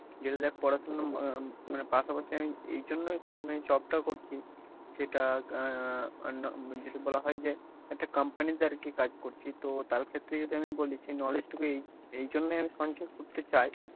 যেটা দেখ পড়াশুনো উম মানে পাশাপাশি আমি এইজন্য মানে job টা করছি সেটা আহ যদি বলা হয় যে একটা company তে আর কি কাজ করছি তো তার ক্ষেত্রে যদি আমি যদি বলি যে knowledge এই এইজন্য আমি সঞ্চয় করতে চাই,